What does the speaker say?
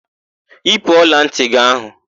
Yipu ọlantị gị áhụ̀!